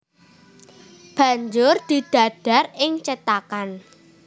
Banjur didadar ing cethakan